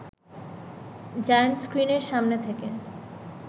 giant স্ক্রিনের সামনে থেকে